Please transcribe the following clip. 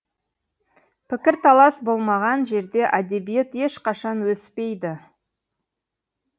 пікірталас болмаған жерде әдебиет ешқашан өспейді